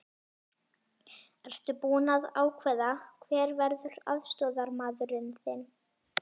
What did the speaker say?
Ertu búinn að ákveða hver verður aðstoðarmaður þinn?